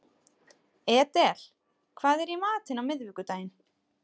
Edel, hvað er í matinn á miðvikudaginn?